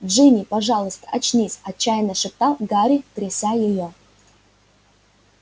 джинни пожалуйста очнись отчаянно шептал гарри тряся её